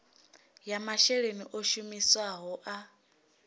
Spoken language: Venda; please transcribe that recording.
ya masheleni o shumisiwaho a